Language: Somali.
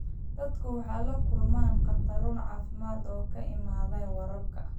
Dadku waxay la kulmaan khataro caafimaad oo ka imaanaya waraabka.